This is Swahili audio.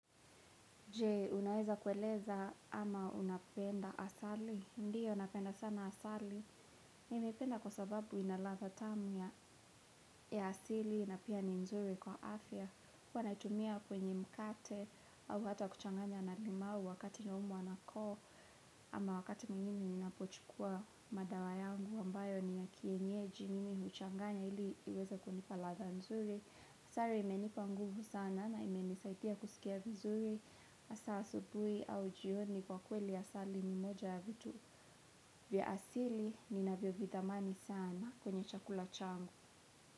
Je, unaweza kueleza ama unapenda asali? Ndiyo, napenda sana asali. Nimeipenda kwa sababu inaladha tamu ya asili na pia ni nzuri kwa afya. Huwa naitumia kwenye mkate au hata kuchanganya na limau wakati naumwa na koo. Ama wakati mimi ninapochukua madawa yangu ambayo ni ya kienyeji mimi huchanganya ili iweza kunipa ladha nzuri. Asali imenipa nguvu sana na imenisaidia kusikia vizuri. Hasa asubuhi au jioni kwa kweli asali ni moja ya vitu vya asili ninavyo vidhamani sana kwenye chakula changu.